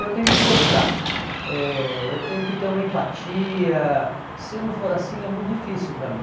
Eu tenho que gostar, eh eu tenho que ter uma empatia, se não for assim é muito difícil para mim.